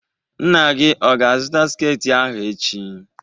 Nna gị ọ ga-azụta sketị ahụ echi?